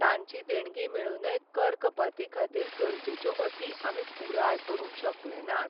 तांची देणगी मेळूनय कर कपातीखातीर गरजेच्यो अटी आमी पुराय करूंक शकले नात.